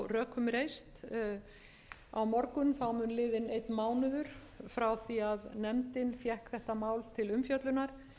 rökum reist á morgun mun liðinn einn mánuður frá því að nefndin fékk þetta mál til umfjöllunar ég hef